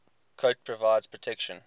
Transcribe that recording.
coat provides protection